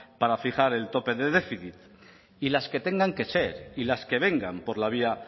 para fijar el tope de déficit y las que tengan que ser y las que vengan por la vía